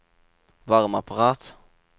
varmeapparat